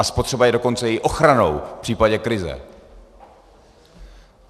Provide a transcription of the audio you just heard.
A spotřeba je dokonce i ochranou v případě krize.